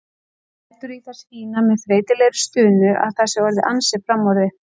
Lætur í það skína með þreytulegri stunu að það sé orðið ansi framorðið.